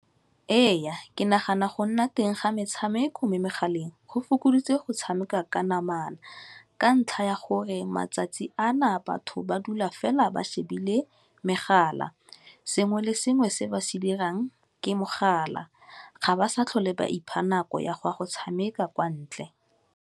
Ee, ke nagana go nna teng ga metshameko mo megaleng go fokoditse go tshameka ka namana ka ntlha ya gore matsatsi a na batho ba dula fa phela ba shebile megala, sengwe le sengwe se ba se dirang ke mogala, ga ba sa tlhole ba ipha nako ya go ya go tshameka kwa ntle.